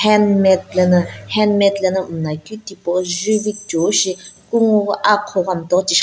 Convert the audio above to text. handmade lana handmade lana mla keu tipau juvi kuchou shi aqhou ghi kungu ghi mtau tish --